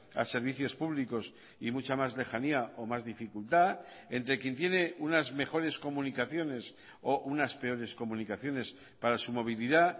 a servicios públicos y mucha más lejanía o más dificultad entre quien tiene unas mejores comunicaciones o unas peores comunicaciones para su movilidad